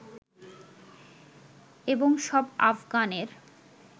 এবং সব আফগানের